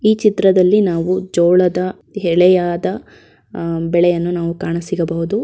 ಈ ಚಿತ್ರದಲ್ಲಿ ನಾವು ಜೋಳದ ಎಲೆಯಾದ ಅಹ್ ಬೆಳೆಯನ್ನು ನಾವು ಕಾಣಸಿಗಬಹುದು.